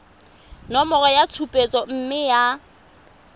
nomoro ya tshupetso mme ya